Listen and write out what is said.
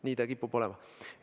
Nii ta kipub olema.